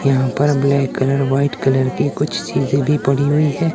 यहां पर black colour white colour की कुछ चीजें भी पड़ी हुई है।